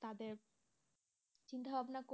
তাদের চিন্তাভাবনা